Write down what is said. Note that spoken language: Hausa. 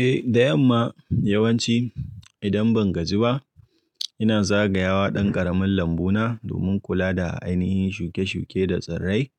Eh da yamma yawanci idan ban gaji ba ina zagayawa ɗan ƙaramin lambu na domin kula da ainihin shuke-shuke da tsirrai,